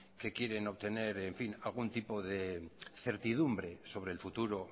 que quieren obtener algún tipo de certidumbre sobre el futuro